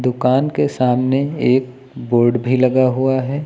दुकान के सामने एक बोर्ड भी लगा हुआ है।